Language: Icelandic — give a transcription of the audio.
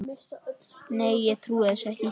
Nei, ég trúi þessu ekki.